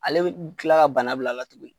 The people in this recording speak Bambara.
Ale bɛ kila ka bana bila la tugunni.